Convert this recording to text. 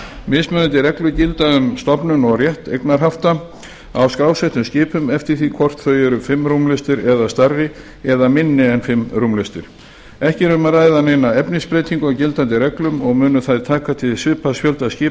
mismunandi reglur gilda um stofnun og rétt eignarhafta á skrásettum skipum eftir því hvort þau eru fimm rúmlestir eða stærri eða minni en fimm rúmlestir ekki er um að ræða neina efnisbreytingu á gildandi reglum og munu þær taka til svipaðs fjölda skipa